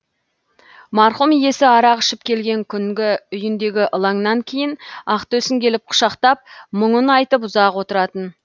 марқұм иесі арақ ішіп келген күнгі үйіндегі ылаңнан кейін ақтөсін келіп құшақтап мұңын айтып ұзақ отыратын